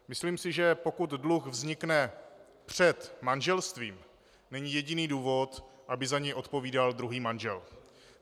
Myslím si, že pokud dluh vznikne před manželstvím, není jediný důvod, aby za něj odpovídal druhý manžel.